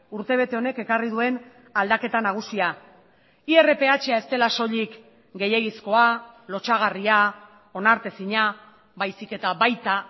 urtebete honek ekarri duen aldaketa nagusia irpha ez dela soilik gehiegizkoa lotsagarria onartezina baizik eta baita